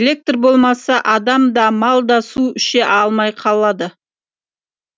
электр болмаса адам да мал да су іше алмай қалады